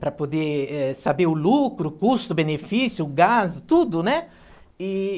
Para poder, eh, saber o lucro, o custo, o benefício, o gasto, tudo, né? E...